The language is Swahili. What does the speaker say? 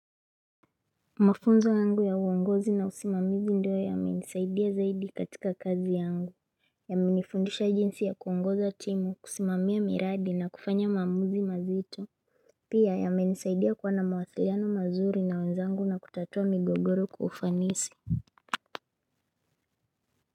Mafunzo yangu ya uongozi na usimamizi ndio ya menisaidia zaidi katika kazi yangu ya menifundisha jinsi ya kuongoza timu kusimamia miradi na kufanya mamuzi mazito pia ya menisaidia kuwana mawasiliano mazuri na wenzangu na kutatua migogoro kwa ufanisi.